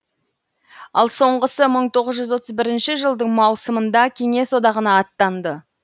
ал соңғысы мың тоғыз жүз отыз бірінші жылдың маусымында кеңес одағына аттанды